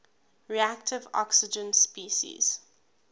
reactive oxygen species